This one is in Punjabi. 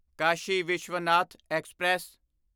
ਕਾਸ਼ੀ ਵਿਸ਼ਵਨਾਥ ਐਕਸਪ੍ਰੈਸ